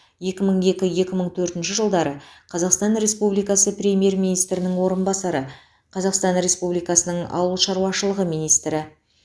екі мың екі екі мың төртінші жылдары қазақстан республикасы премьер министрінің орынбасары қазақстан республикасының ауыл шаруашылығы министрі